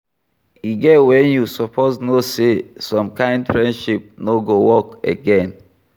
E get when you suppose know sey some kind friendship no go work again